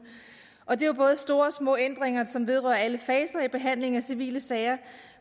og det er jo både store og små ændringer som vedrører alle faser i behandlingen af civile sager